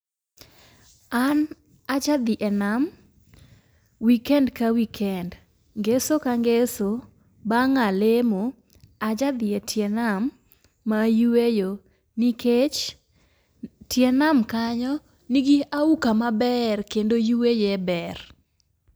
An aja dhi e nam ,weekend ka weekend ,ngeso ka ngeso bang' aa lemo aja dhi etie nam yueyo nikech, tie nam kanyo nigi auka maber kendo yueye ber.